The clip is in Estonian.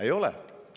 Ei ole!